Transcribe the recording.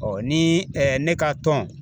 Ɔɔ ni ɛɛ ne ka tɔn